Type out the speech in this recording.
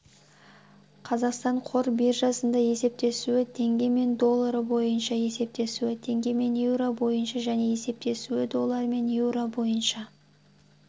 қазақстан қор биржасында есептесуі теңгемен доллары бойынша есептесуі теңгемен еуро бойынша және есептесуі долларымен еуро бойынша